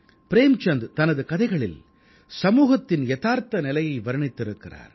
ப்ரேம்சந்த் தனது கதைகளில் சமூகத்தின் யதார்த்த நிலையை வர்ணித்திருக்கிறார்